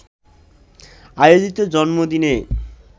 আয়োজিত জন্মদিনে